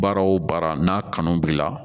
Baara o baara n'a kanu b'i la